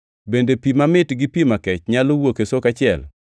Bende pi mamit gi pi makech nyalo wuok e soko achiel?